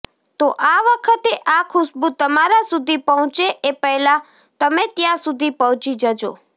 તો આ વખતે આ ખુશ્બુ તમારા સુધી પહોંચે એ પહેલા તમે ત્યાં સુધી પહોંચી જજો